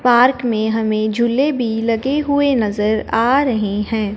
Park में हमें झूले भी लगे हुए नजर आ रहे हैं।